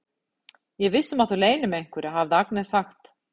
Ég er viss um að þú leynir mig einhverju, hafði Agnes sagt.